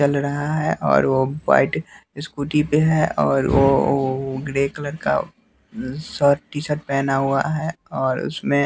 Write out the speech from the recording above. चल रहा है और वो व्हाइट स्कूटी पे है और वो ग्रे कलर का शर्ट टी शर्ट पहना हुआ है और उसमें--